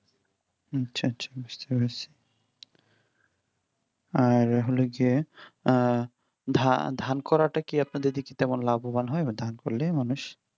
আচ্ছা আচ্ছা বুঝতে পেরেছি আর হলো গিয়ে ধান ধান করাটা কি আপনাদের দিকে তেমন লাভবান হয়? ধান করলে মানুষ